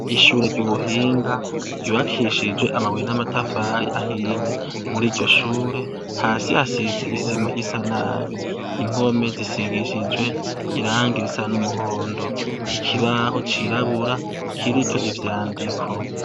Ishure ry'ubuhinga ryubakishijwe amabuye n'amatafari ahiye. Mur'iryo shure, hasi hasize isima isa nabi. Impome zisigishijwe irangi risa n'umuhondo. Ikibaho cirabura kiriko ivyandiko.